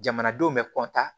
Jamanadenw bɛ